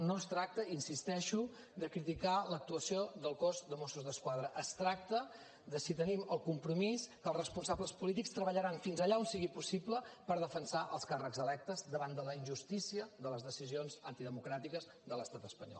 no es tracta hi insisteixo de criticar l’actuació del cos de mossos d’esquadra es tracta de si tenim el compromís que els responsables polítics treballaran fins allà on sigui possible per defensar els càrrecs electes davant de la injustícia de les decisions antidemocràtiques de l’estat espanyol